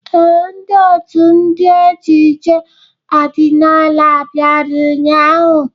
Ee, ndị ọtú ndị ejije ọdịnala bịara ụnyahụ.